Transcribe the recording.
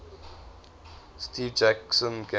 steve jackson games